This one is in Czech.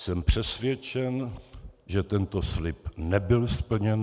Jsem přesvědčen, že tento slib nebyl splněn.